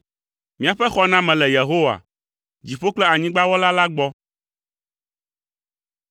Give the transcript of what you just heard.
Míaƒe xɔname le Yehowa, dziƒo kple anyigba Wɔla la gbɔ.